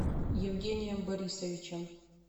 евгением борисовичем